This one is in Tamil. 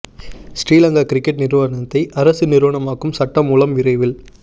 ஸ்ரீ லங்கா கிரிக்கெட் நிறுவனத்தை அரச நிறுவனமாக்கும் சட்ட மூலம் விரைவில்